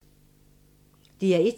DR1